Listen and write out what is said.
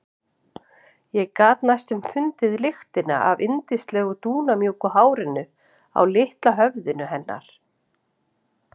Ég gat næstum fundið lyktina af yndislegu dúnmjúku hárinu á litla höfðinu hennar.